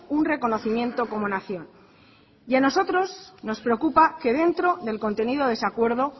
un reconocimiento como nación y a nosotros nos preocupa que dentro del contenido de ese acuerdo